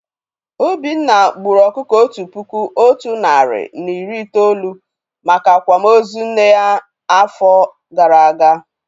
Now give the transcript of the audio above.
Obinna gburu ọkụkọ Otu puku Otu nari na iri itolu maka Akwama ozu nne ya áfọ gara agaa